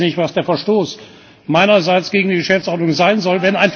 Ich weiß jetzt nicht, was der Verstoß meinerseits gegen die Geschäftsordnung sein soll.